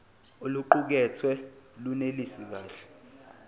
oluqukethwe lunelisi kahle